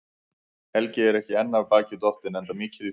Helgi er ekki enn af baki dottinn, enda mikið í húfi.